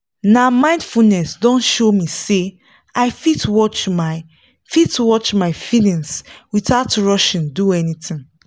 na mindfulness don show me say i fit watch my fit watch my feelings without rushing do anything